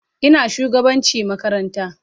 Ina shugabanci makaranta.